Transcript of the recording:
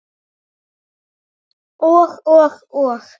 Og og og?